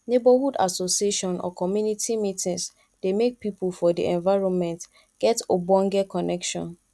neighborhood association or community meetings dey make pipo for di environment get ogbonge connection